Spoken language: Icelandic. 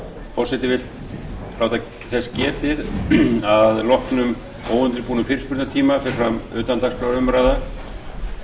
forseti vill láta þess getið að að loknum óundirbúnum fyrirspurnatíma fer fram utandagskrárumræða